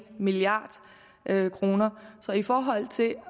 milliard kroner så i forhold til